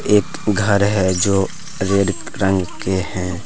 एक घर है जो रेड रंग के हैं।